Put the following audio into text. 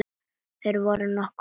Þeir voru nokkuð ólíkir.